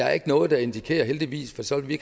er noget der indikerer heldigvis for så ville vi